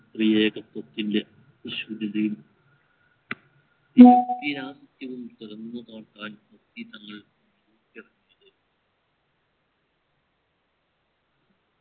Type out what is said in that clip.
ക്രിയേത്വത്വത്തിൻറെ വിശ്വ മുഖ്യ ആദിത്യവും തുറന്നു നോക്കാൻ മുസ്ലി തങ്ങൾ ഇറങ്ങിയത്